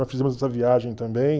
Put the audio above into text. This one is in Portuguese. Nós fizemos essa viagem também.